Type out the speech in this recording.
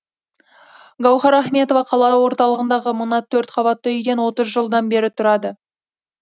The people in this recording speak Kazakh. гауһар ахметова қала орталығындағы мына төрт қабатты үйден отыз жылдан бері тұрады